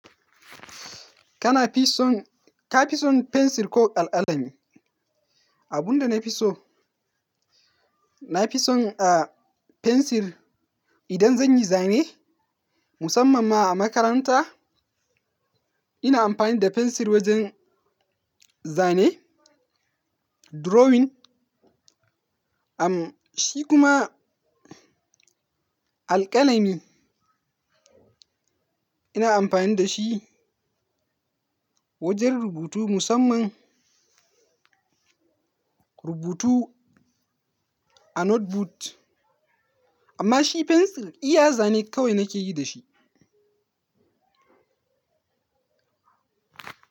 Kana fi son-- ka fi son fensir ko alƙalami? Abin da na fi so, na fi son, fensir idan zan yi zane musamman ma a makaranta. Ina amfani da fensir wajen zane, drawing. Shi kuma alƙalami ina amfani da shi wajen rubutu musamman rubutu a notebook. Amma shi fensir iya zane kawai nake yi da shi.